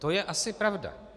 To je asi pravda.